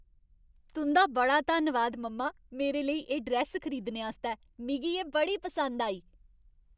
तुं'दा बड़ा धन्नवाद, मम्मा! मेरे लेई एह् ड्रैस्स खरीदने आस्तै, मिगी एह् बड़ी पसंद आई।